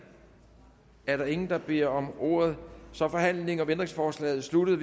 er der ingen der beder om ordet så er forhandlingen om ændringsforslaget sluttet